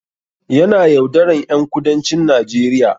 Yana yaudaran ƴan kudancin Najeriya